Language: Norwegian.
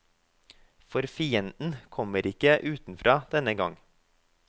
For fienden kommer ikke utenfra denne gang.